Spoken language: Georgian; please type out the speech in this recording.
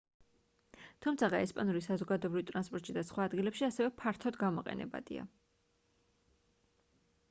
თუმცაღა ესპანური საზოგადოებრივ ტრანსპორტში და სხვა ადგილებში ასევე ფართოდ გამოყენებადია